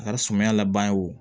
A ka sumaya laban ye wo